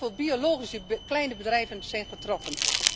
Met name heel veel biologische kleine bedrijven zijn getroffen.